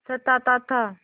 सताता था